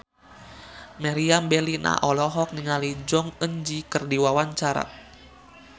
Meriam Bellina olohok ningali Jong Eun Ji keur diwawancara